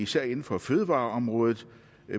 særlig inden for fødevareområdet